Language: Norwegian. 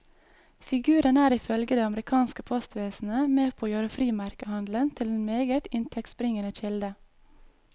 Figuren er ifølge det amerikanske postvesenet med på å gjøre frimerkehandelen til en meget inntektsbringende kilde.